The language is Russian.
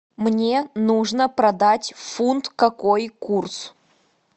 мне нужно продать фунт какой курс